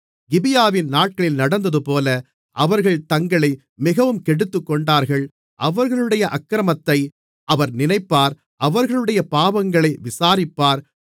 கிபியாவின் நாட்களில் நடந்தது போல அவர்கள் தங்களை மிகவும் கெடுத்துக்கொண்டார்கள் அவர்களுடைய அக்கிரமத்தை அவர் நினைப்பார் அவர்களுடைய பாவங்களை விசாரிப்பார்